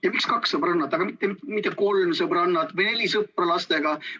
Ja miks kaks sõbrannat, aga mitte kolm sõbrannat või neli sõpra lastega?